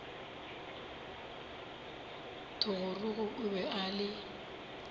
thogorogo o be a le